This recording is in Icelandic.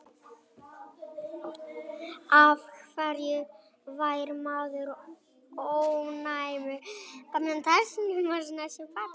af hverju fær maður ofnæmi